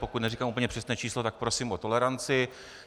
Pokud neříkám úplně přesné číslo, tak prosím o toleranci.